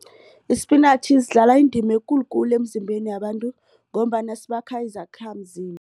Isipinatjhi zidlala indima ekulukulu emzimbeni yabantu ngombana sibakha